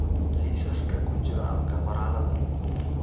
liisaska ku jira abka qoraalada